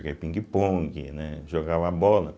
Joguei pingue-pongue, né jogava bola.